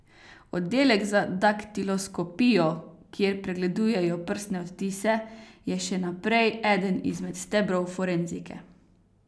Oddelek za daktiloskopijo, kjer pregledujejo prstne odtise, je še naprej eden izmed stebrov forenzike.